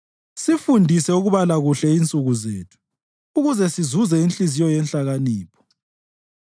Sifundise ukubala kuhle insuku zethu, ukuze sizuze inhliziyo yenhlakanipho.